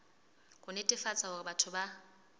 ho netefatsa hore batho ba